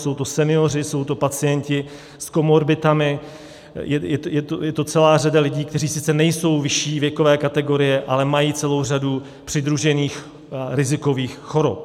Jsou to senioři, jsou to pacienti s komorbiditami, je to celá řada lidí, kteří sice nejsou vyšší věkové kategorie, ale mají celou řadu přidružených rizikových chorob.